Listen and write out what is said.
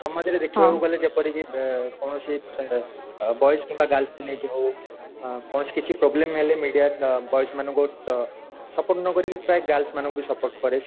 then ମଝିରେ ଦେଖିବାକୁ ଗଲେ ଯେପରିକି କୌଣସି ଅ boys କିମ୍ବା girls କୁ ନେଇକି ହଉ ଅ କୌଣସି କିଛି problem ହେଲେ media boys ମାନଙ୍କୁ support ନ କରି ପ୍ରାଏ girls ମାନଙ୍କୁ ବି support କରେ